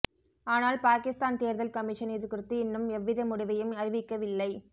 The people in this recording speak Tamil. ஆனால் பாகிஸ்தான் தேர்தல் கமிஷன் இதுகுறித்து இன்னும் எவ்வித முடிவையும் அறிவிக்கவில்லை